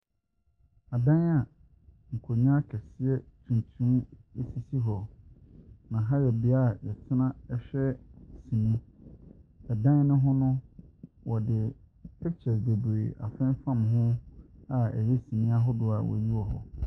Dan a nkonnwa akɛseɛ tuntum sisi hɔ, na yɛ bea a yɛtena hwɛ sini, dan ne ho no, wɔde pictures bebree afemfam ho a ɛyɛ sini ahodoɔ wɔyi wɔ hɔ.